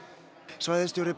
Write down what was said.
svæðisstjóri